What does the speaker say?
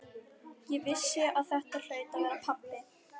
Ég vissi að þetta hlaut að vera pabbi.